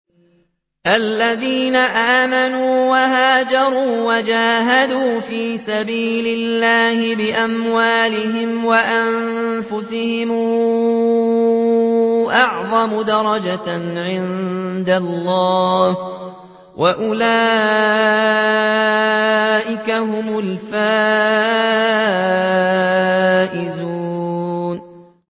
الَّذِينَ آمَنُوا وَهَاجَرُوا وَجَاهَدُوا فِي سَبِيلِ اللَّهِ بِأَمْوَالِهِمْ وَأَنفُسِهِمْ أَعْظَمُ دَرَجَةً عِندَ اللَّهِ ۚ وَأُولَٰئِكَ هُمُ الْفَائِزُونَ